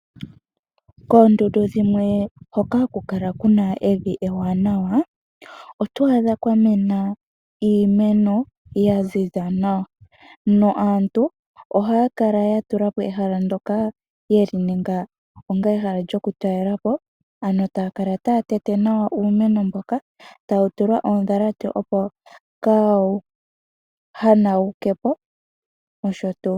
Koondundu dhimwe hoka haku kala kuna evi ewanawa oto adha kwa mena iimeno ya ziza nawa naantu ohaya kala ya tula po ehala ndoka yeli ninga onga ehala lyokutalela po ano taya kala taya tete nawa uumeno mboka, tawu tulwa oondhalate opo kaawu hanawuke po nosho tuu.